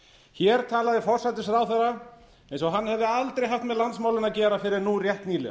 hér talaði forsætisráðherra eins og hann hefði aldrei haft með landsmálin að gera fyrr en nú rétt nýlega